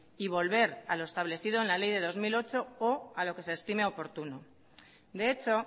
y volver a lo establecido en la ley de dos mil ocho o a lo que se estime oportuno de hecho